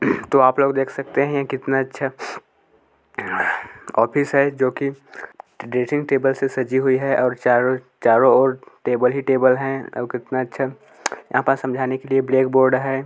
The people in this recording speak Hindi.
तो आपलोग देख सकते है कितना अच्छा ऑफिस है जो की ड्रेसिंग टेबल से सजी हुई है और चारो-चारो और टेबल ही टेबल है और कितना अच्छा यहाँ पर समझाने के लिए ब्लैक बोर्ड है।